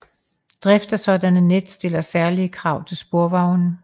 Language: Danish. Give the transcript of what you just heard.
Drift af sådanne net stiller særlige krav til sporvogne